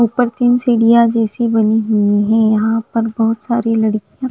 ऊपर तीन सीढिया जैसी बनी हुई है यहाँ पर बहोत सारी लड़किया--